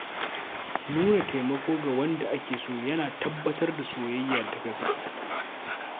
Nuna taimako ga wanda ake so yana tabbatar da soyayya ta gaske.